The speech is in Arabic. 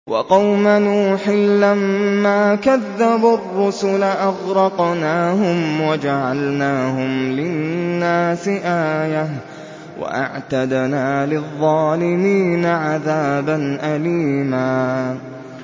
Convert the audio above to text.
وَقَوْمَ نُوحٍ لَّمَّا كَذَّبُوا الرُّسُلَ أَغْرَقْنَاهُمْ وَجَعَلْنَاهُمْ لِلنَّاسِ آيَةً ۖ وَأَعْتَدْنَا لِلظَّالِمِينَ عَذَابًا أَلِيمًا